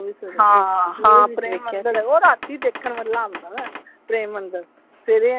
ਹਾਂ ਹਾਂ ਪ੍ਰੇਮ ਮੰਦਿਰ ਉਹ ਰਾਤੀ ਦੇਖਣ ਵਾਲਾ ਹੁੰਦਾ ਵਾ ਪ੍ਰੇਮ ਮੰਦਿਰ ਸਵੇਰੇ,